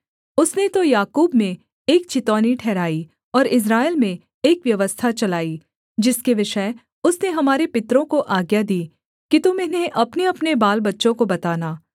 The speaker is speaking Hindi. उसने तो याकूब में एक चितौनी ठहराई और इस्राएल में एक व्यवस्था चलाई जिसके विषय उसने हमारे पितरों को आज्ञा दी कि तुम इन्हें अपनेअपने बालबच्चों को बताना